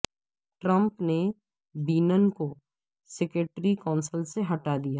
Trump نے Bannon کو security council سے ہٹا دیا